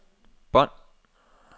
bånd